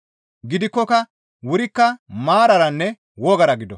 Gidikkoka wurikka maararanne wogara gido.